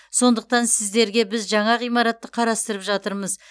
сондықтан сіздерге біз жаңа ғимаратты қарастырып жатырмыз